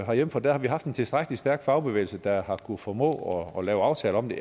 herhjemme for der har vi haft en tilstrækkelig stærk fagbevægelse der har kunnet formå at lave aftaler om det